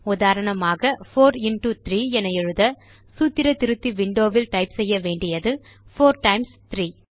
உதாரணமாக 4 இன்டோ 3 என எழுத சூத்திர திருத்தி விண்டோ வில் டைப் செய்ய வேண்டியது 4 டைம்ஸ் 3